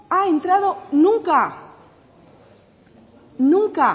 ha entrado nunca nunca